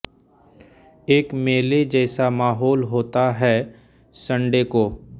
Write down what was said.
एक मेले जैसा माहौल होता है सन्डे को